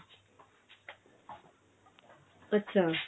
ਅੱਛਾ